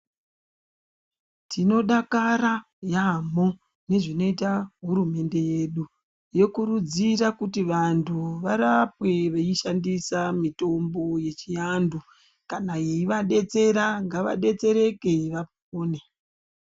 Tinodakara yaamho, nezvinoita hurumende yedu. Yokurudzira kuti vantu varapwe veishandisa mitombo yechianhu. Kana yeidetsera, ngavadetsereke vapone.